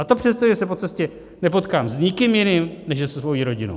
A to přesto, že se po cestě nepotkám s nikým jiným než se svou rodinou.